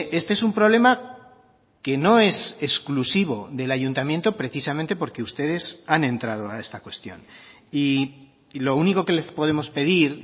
este es un problema que no es exclusivo del ayuntamiento precisamente porque ustedes han entrado a esta cuestión y lo único que les podemos pedir